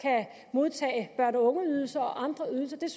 modtage børne og ungeydelse og andre ydelser det